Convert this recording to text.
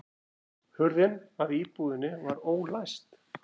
Hurðin að íbúðinni var ólæst